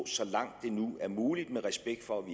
så langt det nu er muligt og med respekt for at vi